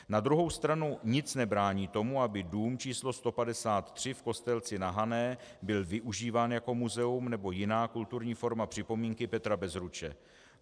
Na druhou stranu nic nebrání tomu, aby dům číslo 153 v Kostelci na Hané byl využíván jako muzeum nebo jiná kulturní forma připomínky Petra Bezruče.